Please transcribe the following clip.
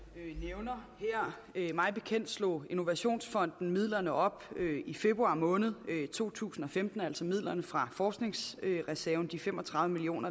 nævner her mig bekendt slog innovationsfonden midlerne op i februar måned to tusind og femten altså midlerne fra forskningsreserven de fem og tredive million